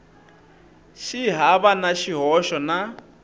xi hava na xihoxo na